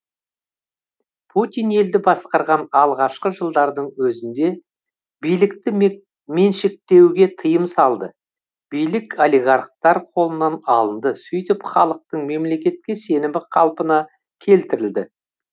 путин елді басқарған алғашқы жылдардың өзінде билікті меншіктеуге тыйым салды билік олигархтар қолынан алынды сөйтіп халықтың мемлекетке сенімі қалпына келтірілді